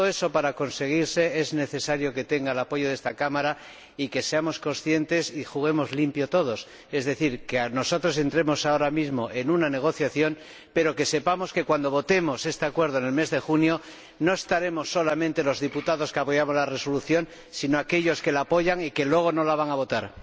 Para conseguir todo eso se necesita el apoyo de esta Cámara y que seamos conscientes y juguemos limpio todos, es decir, que nosotros entremos ahora mismo en una negociación, pero que sepamos que, cuando votemos este acuerdo en el mes de junio, no estaremos solamente los diputados que apoyamos la Resolución, sino aquellos que la apoyan y que luego no la van a votar.